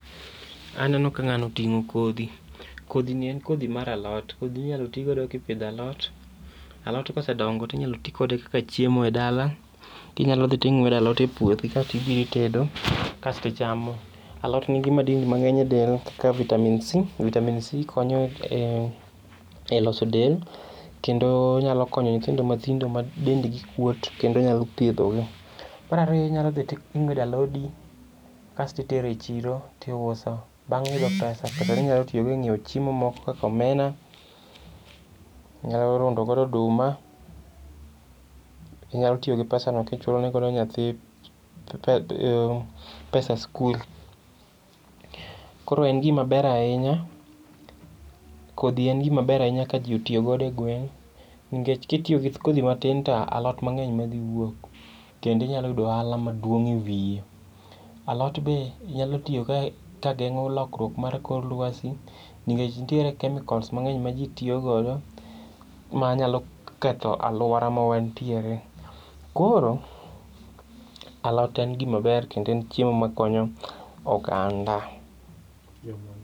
Aneno ka ng'ani oting'o kodhi. Kodhini en kodhi mar alot. Kodhini inyal tigodo kipidho alot. Alot kosedongo tinyalo tikode kaka chiemo e dala. Kinyalo dhi to ing'wedo alot e puothi kasto ibiro itedo kasto ichamo. Alot nitiere gi madini mang'eny e del ka vitamin C. Vitamin C konyo e loso del kendo nyalo konyo nyithindo matindo madendgi kuot, kendo nyalo thiedhogi. Mar ariyo inyalo dhi ting'wedo alodi kasto itere chiro tiuso. Bang' yudo pesa , pesano inyalo tiyogo e nyiewo chiemo moko kaka omena, inyalo rundogo oduma, inyalo tiyo gi pesano kichulone godo nyathi pesa sikul. Koro en gima ber ahinya, kodhi en gima ber ahinya ka ji otiyogodo e gweng' nikech kitiyo gi kodhi matin to alot mang'eny ema dhi wuok kendo inyalo yudo ohala maduong' e wiye .Alot be nyalo tiyo ka geng'o lokruok mar kor lwasi ningech nitie chemicals mang'eny ma ji tiyogo ma nyalo ketho alwora ma wantiere. Koro, alot en gima ber kendo en chiemo makonyo oganda.